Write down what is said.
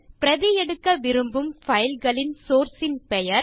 பிரதி எடுக்க விரும்பும் பைல்ஸ் ன் சோர்ஸ் ன் பெயர்